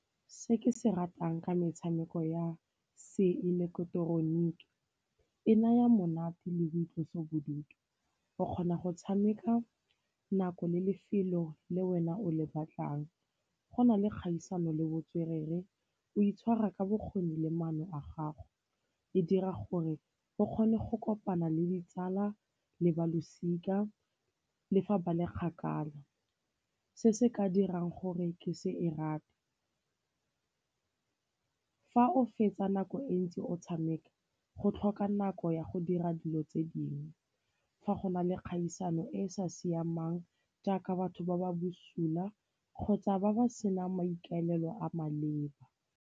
Se ke se ratang ke metshameko ya se ileketeroniki e naya monate le boitlosobodutu. O kgona go tshameka nako le lefelo le wena o le batlang, go na le kgaisano le botswerere, o itshwara ka bokgoni le maano a gago. E dira gore o kgone go kopana le ditsala le ba losika le fa ba le kgakala. Se se ka dirang gore ke se e rate, fa o fetsa nako e ntsi o tshameka go tlhoka nako ya go dira dilo tse dingwe, fa go na le kgaisano e e sa siamang jaaka batho ba ba bosula kgotsa ba ba senang maikaelelo a maleba.